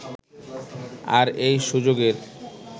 আর এই সুযোগের